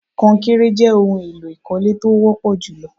Konkéré jé ohun èlò ìkọ́lé tó wọ́pọ̀ jù lọ.